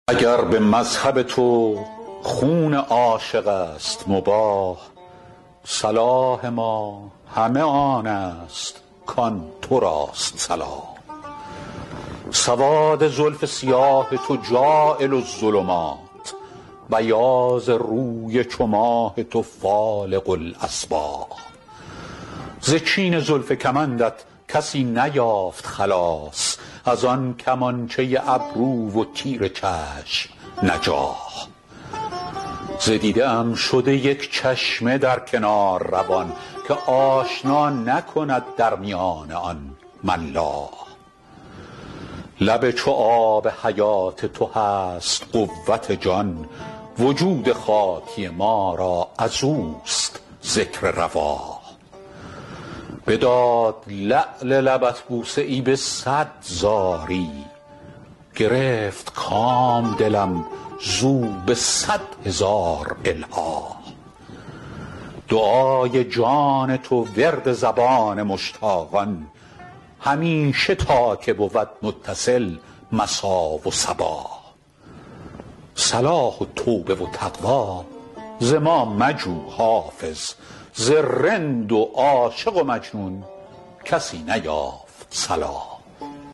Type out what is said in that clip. اگر به مذهب تو خون عاشق است مباح صلاح ما همه آن است کآن تو راست صلاح سواد زلف سیاه تو جاعل الظلمات بیاض روی چو ماه تو فالق الأصباح ز چین زلف کمندت کسی نیافت خلاص از آن کمانچه ابرو و تیر چشم نجاح ز دیده ام شده یک چشمه در کنار روان که آشنا نکند در میان آن ملاح لب چو آب حیات تو هست قوت جان وجود خاکی ما را از اوست ذکر رواح بداد لعل لبت بوسه ای به صد زاری گرفت کام دلم زو به صد هزار الحاح دعای جان تو ورد زبان مشتاقان همیشه تا که بود متصل مسا و صباح صلاح و توبه و تقوی ز ما مجو حافظ ز رند و عاشق و مجنون کسی نیافت صلاح